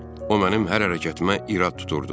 O mənim hər hərəkətimə irad tuturdu.